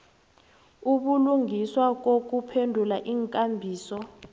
ubulungiswa nokuphendula iinkambiso